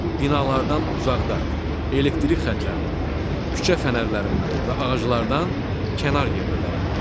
Binalardan uzaqda, elektrik xətlərindən, küçə fənərlərindən və ağaclardan kənar yerdə dayanın.